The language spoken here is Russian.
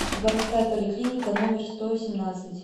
городская поликлиника номер сто семнадцать